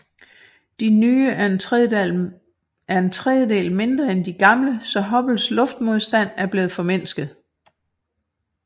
De nye er en tredjedel mindre end de gamle så Hubbles luftmodstand er blevet formindsket